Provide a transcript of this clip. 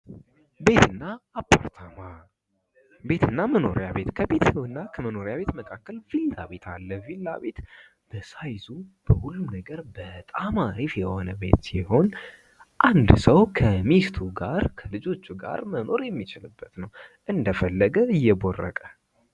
ቤት እና አፓርታማ ቤት እና መኖሪያ ቤት ከቤት እና ከመኖሪያ መካከል ቪላ ቤት አለ። ቪላ ቤት በሳይዙ በሁሉ ነገር በጣም አሪፍ የሆነ ሲሆን አንድ ሰዉ ከሚስቱ ጋር ከልጆቹ ጋር የሚኖረበት ሲሆን እንደልቡ እየቦረቀ።